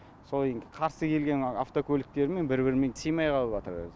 сол енді қарсы келген автокөліктермен бір бірімен сыймай қалыватыр өзі